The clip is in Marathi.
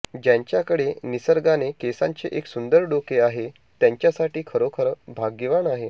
ज्यांच्याकडे निसर्गाने केसांचे एक सुंदर डोके आहे त्यांच्यासाठी खरोखर भाग्यवान आहे